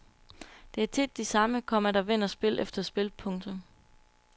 Det er tit de samme, komma der vinder spil efter spil. punktum